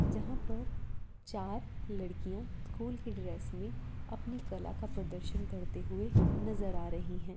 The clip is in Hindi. जहाँ पर चार लड़कियाँ स्कूल के ड्रेस में अपनी कला का प्रदर्शन करते हुए नजर आ रही हैं।